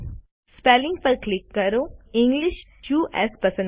spelling પર click કરો અને ઇંગ્લિશ યુએસ પસંદ કરો